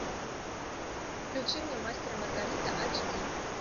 включи мне мастер и маргарита ач ди